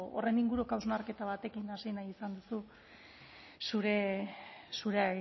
horren inguruko hausnarketa batekin hasi nahi izan duzu zure